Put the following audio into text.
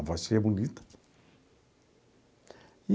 A voz bonita.